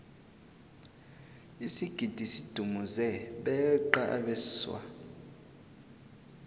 isigidi sidumuze beqa abeswa